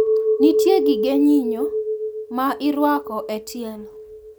Nitie gige nyinyo ma irwako e tielo.